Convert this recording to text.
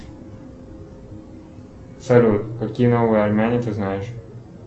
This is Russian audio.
салют какие новые армяне ты знаешь